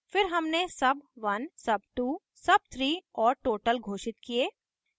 फिर हमने sub1 sub2 sub3 और total घोषित किये